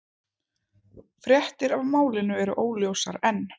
Fréttir af málinu eru óljósar enn